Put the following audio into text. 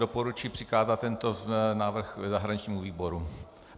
Doporučuji přikázat tento návrh zahraničnímu výboru.